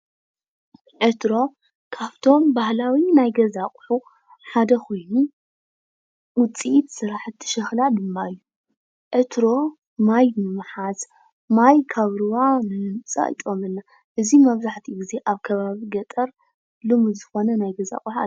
ዕትሮ ካብቶም ባህላዊ ናይ ገዛ አቁሑ ሓደ ኮይኑ ውፅኢት ስራሕቲ ሸኽላ ድማ እዩ። ዕትሮ ማይ ብምሓዝ ማይ ካብ ሩባ ንምምፃእ ይጠቕመና። እዚ መብዛሕትኡ ግዜ ኣብ ከባቢ ገጠር ልሙድ ዝኮነ ናይ ገዛ አቅሓ ሓደ እዩ።